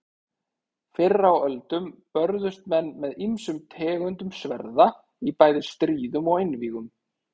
Fyrr á öldum börðust menn með ýmsum tegundum sverða í bæði stríðum og einvígum.